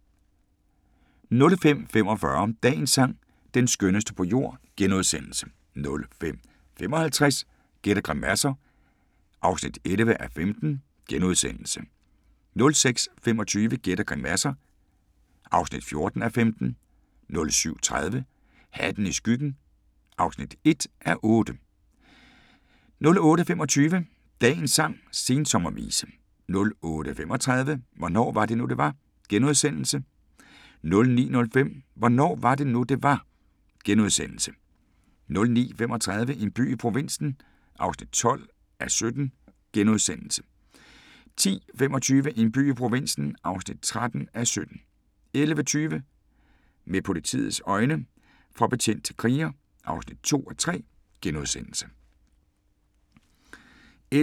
05:45: Dagens sang: Den skønneste på jord * 05:55: Gæt og grimasser (11:15)* 06:25: Gæt og grimasser (14:15) 07:30: Hatten i skyggen (1:8) 08:25: Dagens sang: Sensommervise 08:35: Hvornår var det nu det var * 09:05: Hvornår var det nu, det var? * 09:35: En by i provinsen (12:17)* 10:25: En by i provinsen (13:17) 11:20: Med politiets øjne – fra betjent til kriger (2:3)*